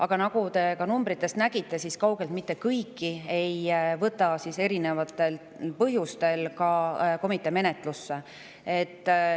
Aga nagu te numbritest nägite, siis ei võta komitee kaugeltki mitte kõiki erinevatel põhjustel menetlusse.